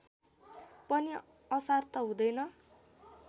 पनि असार त हुँदैन